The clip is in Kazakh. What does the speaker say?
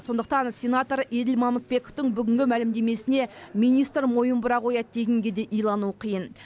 сондықтан сенатор еділ мамытбековтің бүгінгі мәлімдемесіне министр мойын бұра қояды дегенге де илану қиын